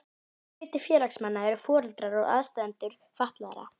Stór hluti félagsmanna eru foreldrar og aðstandendur fatlaðra.